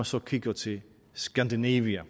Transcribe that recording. så kigger til skandinavien